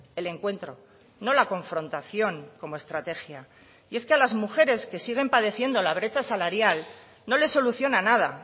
el encuentro no la confrontación como estrategia y es que a las mujeres que siguen padeciendo la brecha salarial no les soluciona nada